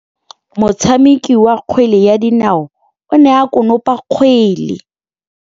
Motshameki wa kgwele ya dinaô o ne a konopa kgwele.